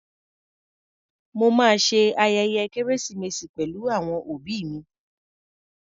Mo ma ṣe ayẹyẹ kérésìmesì pẹ̀lú àwọn òbí mi.